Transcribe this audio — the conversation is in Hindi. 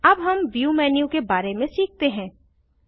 अब हम व्यू मेन्यू के बारे में सीखते हैं